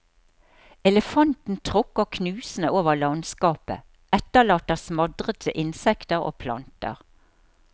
Elefanten tråkker knusende over landskapet, etterlater smadrede insekter og planter.